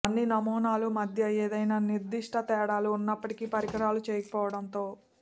అన్ని నమూనాలు మధ్య ఏదైనా నిర్దిష్ట తేడాలు ఉన్నప్పటికీ పరికరాల చేయకపోవడంతో